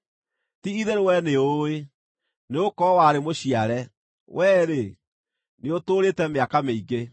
Ti-itherũ wee nĩũũĩ, nĩgũkorwo warĩ mũciare! Wee-rĩ, nĩũtũũrĩte mĩaka mĩingĩ!